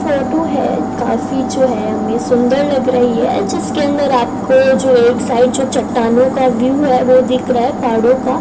Photo है काफी जो है हमें सुंदर लग रही है जिसके अंदर आपको जो एक साइड जो चट्टानों का व्यू है वो दिख रहा है पहाड़ों का।